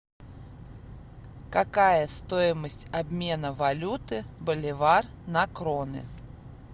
какая стоимость обмена валюты боливар на кроны